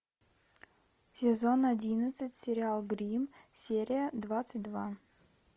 сезон одиннадцать сериал гримм серия двадцать два